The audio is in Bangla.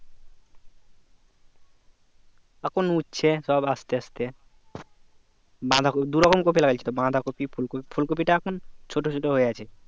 এখন উঠছে সব আস্তে আস্তে বাঁধাকপি দুরকম কপি লাগিয়েছিল বাধাঁকপি ফুলকপি ফুলকপি তা এখন ছোট ছোট হয়ে আছে